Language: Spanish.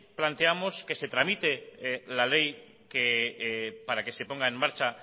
planteamos que se tramite la ley para que se ponga en marcha